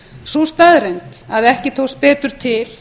sú staðreynd að ekki tókst betur til